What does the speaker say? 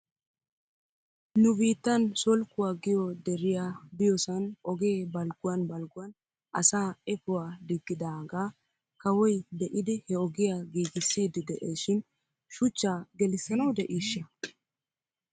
Nu biittan solkkuwaa giyoo deriyaa biyoosan ogee balgguwan balgguwan asaa efuwaa diggidaagaa kawoy be'idi he ogiyaa giigisiidi de'es shin shuchchaa gelissanaw de'iishsha?